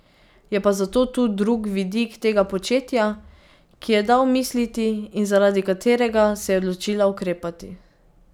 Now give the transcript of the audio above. Je pa zato tu drug vidik tega početja, ki ji je dal misliti in zaradi katerega se je odločila ukrepati.